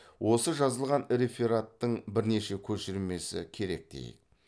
осы жазылған рефераттың бірнеше көшірмесі керек дейік